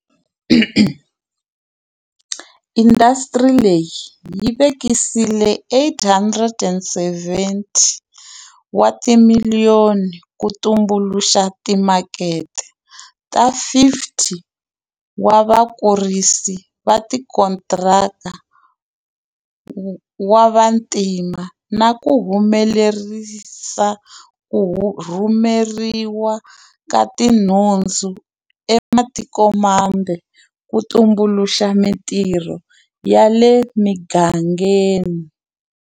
Indasitiri leyi yi vekisile R870 wa timiliyoni ku tumbuluxa timakete ta 50 wa vakurisi va tikontiraka wa vantima na ku humelerisa ku rhumeriwa ka tinhundzu eka matikomambe ku tumbuluxa mitirho ya le migangeni.